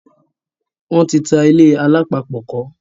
wọ́n ti ta ilé-alápapọ̀kọ́.